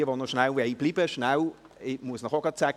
Wer noch kurz bleiben will – ich muss Ihnen auch gerade sagen: